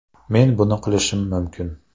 Men buni qilishim mumkin.